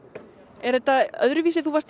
er þetta öðruvísi nú varst